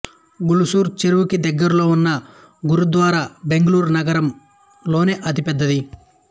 ఉల్సూర్ చెరువుకి దగ్గరలో వున్న గురుద్వారా బెంగళూరు నగరం లోనే అతి పెద్దది